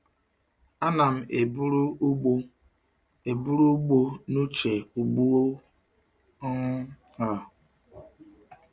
Ana m eburu ugbo eburu ugbo n'uche ugbu um a.